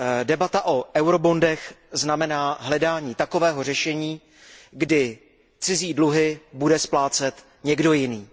Debata o eurobondech znamená hledání takového řešení, kdy cizí dluhy bude splácet někdo jiný.